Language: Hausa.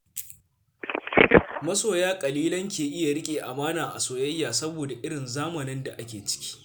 Masoya ƙalilan ke iya riƙe amana a soyayya saboda irin zamanin da ake ciki.